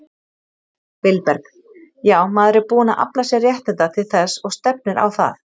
Vilberg: Já, maður er búinn að afla sér réttinda til þess og stefnir á það.